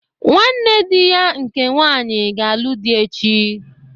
Nwanne dị ya nke nwanyị ga-alụ dị echi.